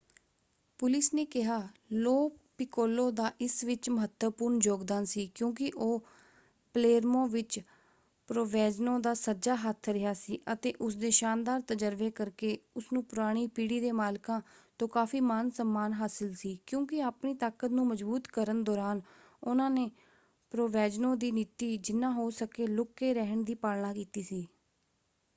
Police ਨੇ ਕਿਹਾ Lo Piccolo ਦਾ ਇਸ ਵਿੱਚ ਮਹੱਤਵਪੂਰਨ ਯੋਗਦਾਨ ਸੀ ਕਿਉਂਕਿ ਉਹ ਪਲੇਰਮੋ ਵਿੱਚ ਪ੍ਰੋਵੈਂਜ਼ਨੋ ਦਾ ਸੱਜਾ ਹੱਥ ਰਿਹਾ ਸੀ ਅਤੇ ਉਸਦੇ ਸ਼ਾਨਦਾਰ ਤਜਰਬੇ ਕਰਕੇ ਉਸਨੂੰ ਪੁਰਾਣੀ ਪੀੜ੍ਹੀ ਦੇ ਮਾਲਕਾਂ ਤੋਂ ਕਾਫ਼ੀ ਮਾਨ ਸਮਮਾਨ ਹਾਸਲ ਸੀ ਕਿਉਂਕਿ ਆਪਣੀ ਤਾਕਤ ਨੂੰ ਮਜਬੂਤ ਕਰਨ ਦੌਰਾਨ ਉਹਨਾਂ ਨੇ ਪ੍ਰੋਵੈਂਜ਼ਨੋ ਦੀ ਨੀਤੀ ਜਿਨ੍ਹਾ ਹੋ ਸਕੇ ਲੁੱਕ ਕੇ ਰਹਿਣ ਦੀ ਪਾਲਣਾ ਕੀਤੀ ਸੀ।